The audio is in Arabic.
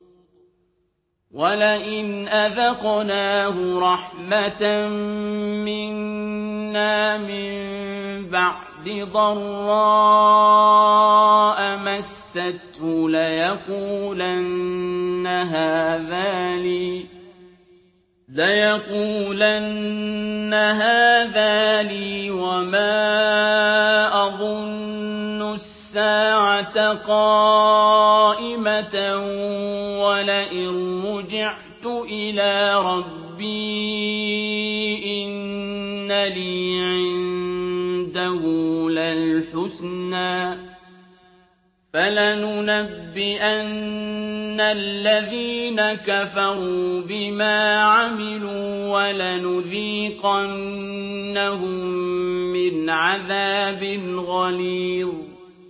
وَلَئِنْ أَذَقْنَاهُ رَحْمَةً مِّنَّا مِن بَعْدِ ضَرَّاءَ مَسَّتْهُ لَيَقُولَنَّ هَٰذَا لِي وَمَا أَظُنُّ السَّاعَةَ قَائِمَةً وَلَئِن رُّجِعْتُ إِلَىٰ رَبِّي إِنَّ لِي عِندَهُ لَلْحُسْنَىٰ ۚ فَلَنُنَبِّئَنَّ الَّذِينَ كَفَرُوا بِمَا عَمِلُوا وَلَنُذِيقَنَّهُم مِّنْ عَذَابٍ غَلِيظٍ